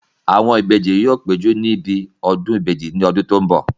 Àwọn ìbejì yóò péjú níbi ọdún ìbejì ní ọdún tó n bọ̀